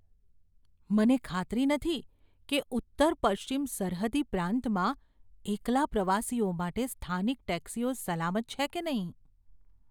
મને ખાતરી નથી કે ઉત્તર પશ્ચિમ સરહદી પ્રાંતમાં એકલા પ્રવાસીઓ માટે સ્થાનિક ટેક્સીઓ સલામત છે કે નહીં.